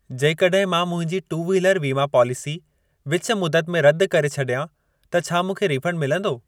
जेकॾहिं मां मुंहिंजी टू व्हीलर वीमा पॉलिसी विच मुदत में रद करे छॾियां त छा मूंखे रीफंड मिलंदो?